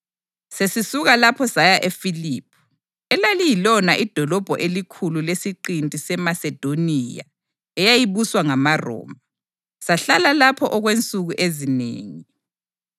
Sesisuka lapho saya eFiliphi, elaliyilona idolobho elikhulu lesiqinti seMasedoniya eyayibuswa ngamaRoma. Sahlala lapho okwensuku ezinengi.